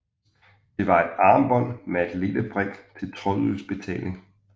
Det var et armbånd med en lille brik til trådløs betaling